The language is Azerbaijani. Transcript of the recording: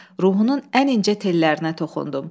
Ruhunun ən incə tellərinə toxundum.